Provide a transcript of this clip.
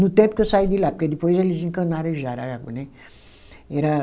No tempo que eu saí de lá, porque depois eles encanaram já a água, né. Era